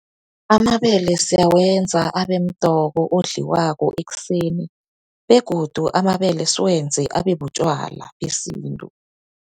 Amabele siyawenza abe mdoko odliwako ekuseni, begodu amabele siwenze abe butjwala besintu.